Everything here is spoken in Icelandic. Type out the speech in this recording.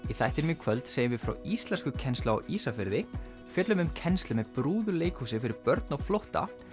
þættinum í kvöld segjum við frá íslenskukennslu á Ísafirði fjöllum um kennslu með brúðuleikhúsi fyrir börn á flótta